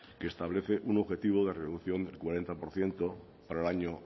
que establece un objetivo de reducción del cuarenta por ciento para el año